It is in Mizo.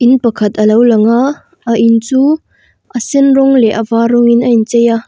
in pakhat alo langa a in chu a sen rawng leh a var rawngin a inchei a.